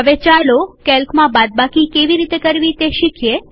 હવે ચાલો કેલ્કમાં બાદબાકી કેવી રીતે કરવી તે શીખીએ